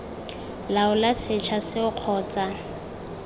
laola setsha seo kgotsa ii